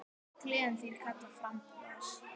Gleðin þín kallar fram bros.